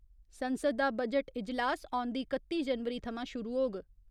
संसद दा बजट इजलास औंदी कत्ती जनवरी थमां शुरु होग।